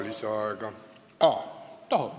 Lisaaega ei saa.